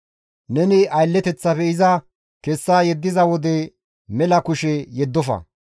Neni aylleteththafe iza kessa yeddiza wode mela kushe yeddofa.